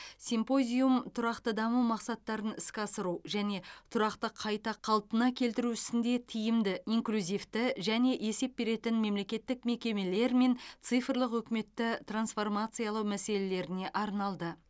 симпозиум тұрақты даму мақсаттарын іске асыру және тұрақты қайта қалпына келтіру ісінде тиімді инклюзивті және есеп беретін мемлекеттік мекемелер мен цифрлық үкіметті трансформациялау мәселелеріне арналды